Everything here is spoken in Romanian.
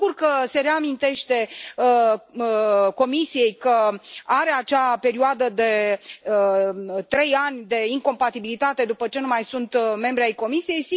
Mă bucur că se reamintește Comisiei că are acea perioadă de trei ani de incompatibilitate după ce nu mai sunt membri ai Comisiei.